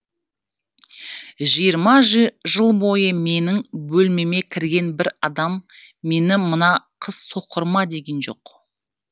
жиырма жыл бойы менің бөлмеме кірген бір адам мені мына қыз соқыр ма деген жоқ